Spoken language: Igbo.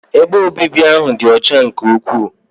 Ebe obibi ahụ dị ọcha nke ukwuu.